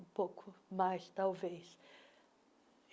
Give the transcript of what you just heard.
Um pouco mais, talvez.